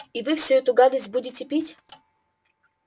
и вы всю эту гадость будете пить